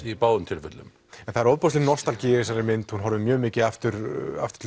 í báðum tilfellum en það er ofboðsleg nostalgía í þessari mynd hún horfir mjög mikið aftur aftur